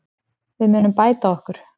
Við munum bæta okkur.